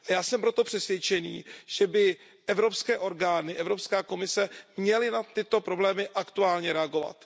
Já jsem proto přesvědčený, že by evropské orgány, Evropská komise, měly na tyto problémy aktuálně reagovat.